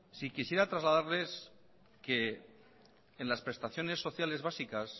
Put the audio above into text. quisiera trasladarles que en las prestaciones sociales básicas